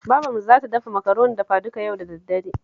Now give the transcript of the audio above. Babarmu za ta dafa Makaroni dafaduka yau da daddare